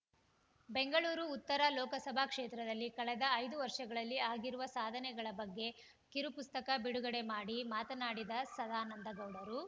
ಬೆಂಗಳೂರು ಉತ್ತರ ಲೋಕಸಭಾ ಕ್ಷೇತ್ರದಲ್ಲಿ ಕಳೆದ ಐದು ವರ್ಷಗಳಲ್ಲಿ ಆಗಿರುವ ಸಾಧನೆಗಳ ಬಗ್ಗೆ ಕಿರುಪುಸ್ತಕ ಬಿಡುಗಡೆ ಮಾಡಿ ಮಾತನಾಡಿದ ಸದಾನಂದಗೌಡರು